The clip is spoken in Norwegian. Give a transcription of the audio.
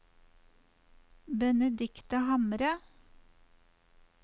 Benedicte Hamre